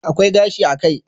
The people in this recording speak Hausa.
Akwai gashi a kai